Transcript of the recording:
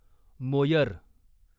Moyer